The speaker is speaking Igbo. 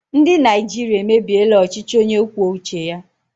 Ndị Naịjirịa emebiela ọchịchị onye kwuo uche ya.